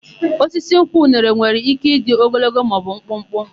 Osisi nkwụ nwere ike ịdị ogologo maọbụ mkpụkpụ.